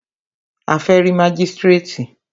A fẹ́ rí mágístrètì.